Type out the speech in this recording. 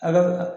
A bɛ